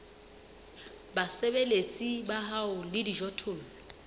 basebeletsi ba hao le dijothollo